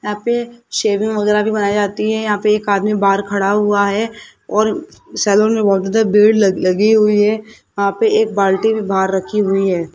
यहां पे शेविंग वगैरा भी बनाई जाती है यहां पे एक आदमी बाहर खड़ा हुआ है और सैलून में बहोत ज्यादा भीड़ लग लगी हुई है यहां पे एक बाल्टी भी बाहर रखी हुई है।